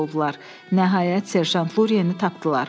Nəhayət Serjant Luriyeni tapdılar.